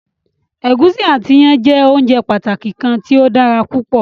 Ẹ̀gúsí ati iyán jẹ óunjẹ pàtàki kan tí o dára púpọ̀.